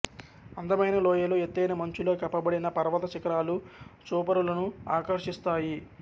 అందమైన లోయలు ఎత్తైన మంచుతో కప్పబడిన పర్వత శిఖరాలు చూపరులను ఆకర్షిస్తాయి